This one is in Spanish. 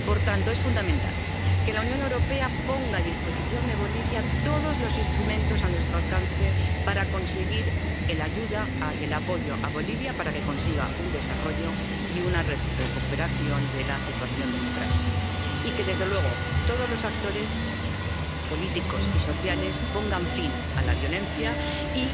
Por tanto, es fundamental que la Unión Europea ponga a disposición de Bolivia todos los instrumentos a su alcance para prestarle ayuda y apoyo para que consiga un desarrollo y una recuperación de la situación democrática, y que, desde luego, todos los actores políticos y sociales pongan fin a la violencia y